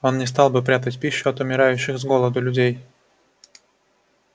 он не стал бы прятать пищу от умирающих с голоду людей